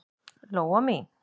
Lóa mín.